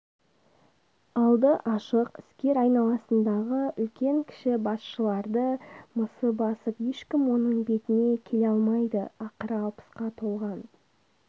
алды ашық іскер айналасындағы үлкен-кіші басшыларды мысы басып ешкім оның бетіне келе алмайды ақыры алпысқа толған